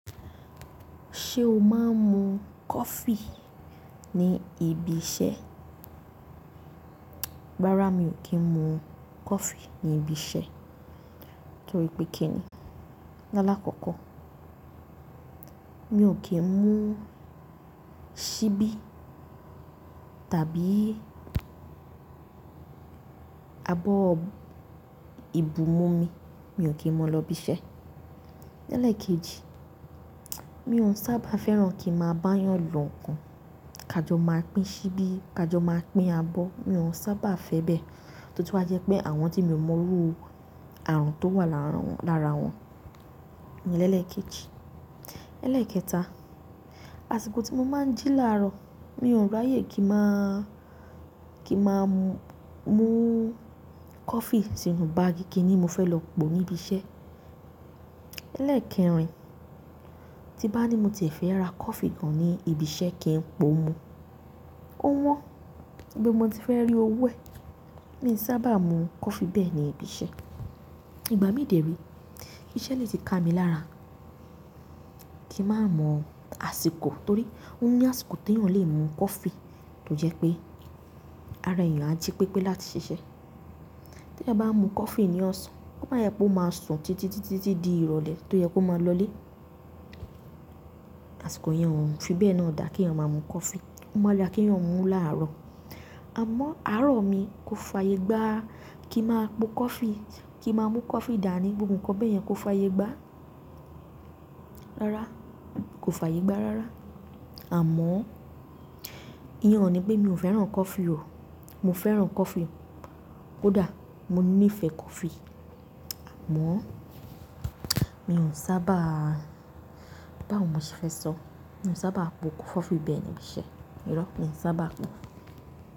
Ṣé o máa ń mu coffee ní ibi iṣẹ́? Rárá, mi ò kí ń mu coffee ní ibi iṣẹ́. Torí pé kí ni? Lálákọ̀ọ́kọ́, mi ò kí ń mu síbí tàbí abọ́ ìbú mú mi, mi ò kí mu lọ ibi iṣẹ́. Lelekeeji, mi ò sáà bá fẹ́ràn kii máa bayan lo ǹkan. Ká jọ máa pín síbí, ká jọ máa pín abọ́, mi ò sábà fẹ́ bẹ́ẹ̀. Totun wá jẹ́ pé àwọn tí mi ò mọrú àrùn tó wà láàárín wọn. Lẹ́ẹ̀kẹta, àsìkò tí mo máa ń jí làárọ̀, mi ò ráyè kí màá mú coffee sínú báàgì kí ni mo fẹ́ lọ po níbi iṣẹ́. Eleekerin, tí nba ní mo ti e fẹ́ ra coffee gan níbi iṣẹ́ kii po mu ó wọ́n ibo mo ti fẹ́ rí owó ẹ̀. Mi i sábà mú coffee bẹ́ẹ̀ ní ibi iṣẹ́. Ìgbà mí dèrí, iṣẹ́ lè ti ká mi lára kí má mọ àsìkò. Torí ó ní àsìkò tí èèyàn lè mu coffee tó jẹ́ pé ara èèyàn á jí pípé láti ṣiṣẹ́. Tí èèyàn bá mu coffee ní ọ̀sán, kó máa jẹ pé ó máa sùn títí, títí, títí di ìrọ̀lẹ́ tó yẹ kó máa lọlé. Àsìkò yẹn ò fi bẹ́ẹ̀ náà dà kí èèyàn máa mu coffee. Ó máa da kí èèyàn mú láàárọ̀. Àmọ́ àárọ̀ mi kò fàyè gbá kí màá po coffee, kí màá mú coffee dà ní gbogbo ǹkan bẹ́ẹ̀ yẹn kò fàyè gbá. Rárá, kò fàyè gbá rárá. Àmọ́ ìyẹn ò ní pé mi ò fẹ́ràn coffee o. Mo fẹ́ràn coffee. Kódà mo nífẹ̀ẹ́ coffee. Àmọ́ mi ò sábà, báwo mo ṣe fẹ́ sọ? Mi ò sábà po coffee bẹ́ẹ̀ ní ibi iṣẹ́. Irọ́ mi i sábà po.